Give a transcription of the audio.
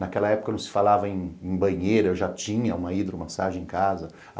Naquela época não se falava em em banheira, eu já tinha uma hidromassagem em casa.